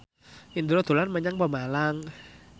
Indro dolan menyang Pemalang